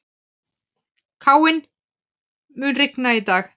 Káinn, mun rigna í dag?